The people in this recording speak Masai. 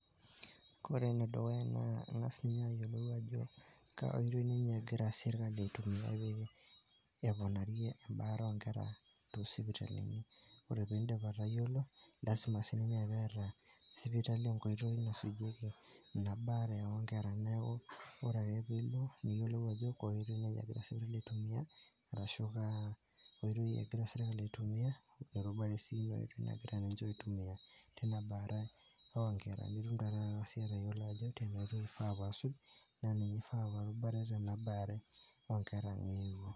Ore ene dukuya naa ing'as ninye ayiolou ajo kaa oitoi ninye egira sirkali aitumia pee eponarie embaare oonkera toosipitalini. Ore sii piindim atayiolo lasima sii ninye pee eeta sipitali enkoitoi nasujieki ina baare oonkerra neeku ore ake piilo niyiolou ajo kaa oitoi naa egira sipitali aitumiya, arashu kaa oitoi egira sirkali aitumia tina baare oonkera nitum naa taata siyie atayiolo ajo enaoitoi asuj tena baare oonkera.